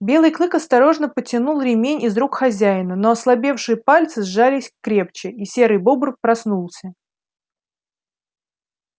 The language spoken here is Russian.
белый клык осторожно потянул ремень из рук хозяина но ослабевшие пальцы сжались крепче и серый бобр проснулся